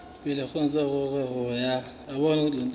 pele ho ngodiso ho ya